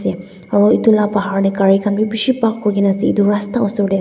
aro etu la bahar dae karai kan bi bishi park kuri kina ase etu rasta osor dae ase.